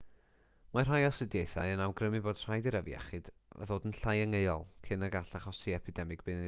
mae rhai astudiaethau yn awgrymu bod rhaid i'r afiechyd ddod yn llai angheuol cyn y gall achosi epidemig byd-eang nododd